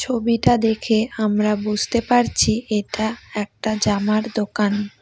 ছবিটা দেখে আমরা বুঝতে পারছি এটা একটা জামার দোকান।